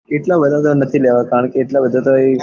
એટલા બધા તો નાં એટલા બધા તો નથી લેવા કારણે કે એટલા બધા તો